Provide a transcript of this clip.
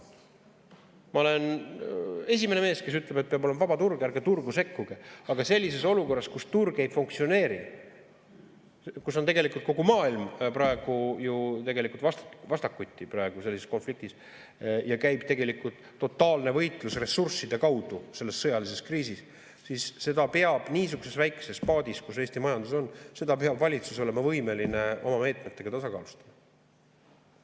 Ma olen esimene mees, kes ütleb, et peab olema vaba turg, ärge turgu sekkuge, aga sellises olukorras, kus turg ei funktsioneeri, kus kogu maailm on praegu ju vastakuti selles konfliktis ja käib totaalne võitlus ressursside kaudu selles sõjalises kriisis, siis seda peab niisuguses väikeses paadis, kus Eesti majandus on, valitsus olema võimeline oma meetmetega tasakaalustama.